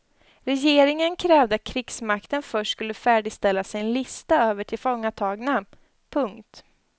Regeringen krävde att krigsmakten först skulle färdigställa sin lista över tillfångatagna. punkt